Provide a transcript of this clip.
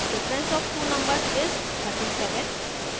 difference of two numbers is 37